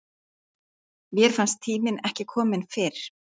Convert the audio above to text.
Mér fannst tíminn ekki kominn fyrr.